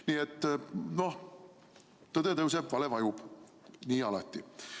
Nii et tõde tõuseb, vale vajub, nagu alati.